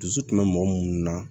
Dusu tun bɛ mɔgɔ munnu na